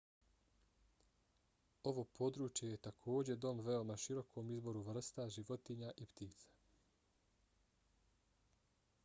ovo područje je takođe dom veoma širokom izboru vrsta životinja i ptica